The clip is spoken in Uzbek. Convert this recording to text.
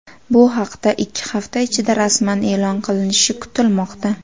Bu haqda ikki hafta ichida rasman e’lon qilinishi kutilmoqda.